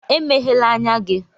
Emeghèlà ányá gị!